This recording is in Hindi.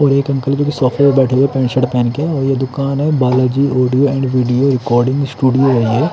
और एक अंकल जी शॉप में बैठे हुए हैं पेंट शर्ट पहन के और ये दुकान हैं Balaji audio and video recording studio हैं ये--